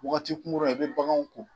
Wagati kunkurunna i bɛ baganw ko.